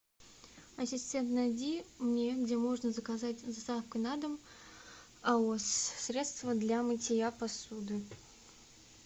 ассистент найди мне где можно заказать с доставкой на дом аос средство для мытья посуды